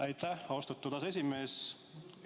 Aitäh, austatud aseesimees!